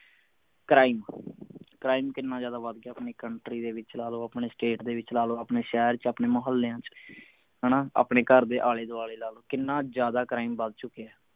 crime, crime ਕਿੰਨਾ ਜਿਆਦਾ ਵੱਧ ਗਿਆ ਹੈ ਆਪਣੀ country ਦੇ ਵਿਚ ਲਾ ਲਓ ਆਪਣੀ state ਦੇ ਵਿਚ ਲਾ ਲੋ ਆਪਣੇ ਸ਼ਹਿਰ ਚ ਆਪਣੇ ਮੋਹਲਿਆਂ ਚ ਹਣਾ ਆਪਣੇ ਘਰ ਦੇ ਆਲੇ ਦੁਆਲੇ ਦਾ ਕਿੰਨਾ ਜਿਆਦਾ crime ਵੱਧ ਚੁੱਕਿਆ